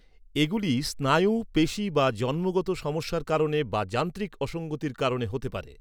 এগুলি স্নায়ু, পেশী বা জন্মগত সমস্যার কারণে বা যান্ত্রিক অসঙ্গতির কারণে হতে পারে।